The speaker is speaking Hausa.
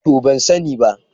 To ban sani ba.